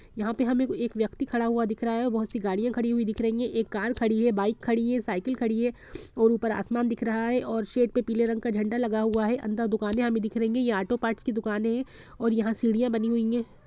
यहां पे हमे एक व्यक्ति खड़ा हुआ दिख रहा है बहुत सी गाड़ियां खड़ी हुई दिख रही है एक कार एक बाइक खड़ी एक साइकिल खड़ी है और ऊपर आसमान दिख रहा हैऔर सेट में पीले रंग का झंडा लगा हुआ है अंदर दुकाने दिख रही है यह आटो पार्ट्स की दुकानें हैं और यहां सीढ़ियां बनी हुई है।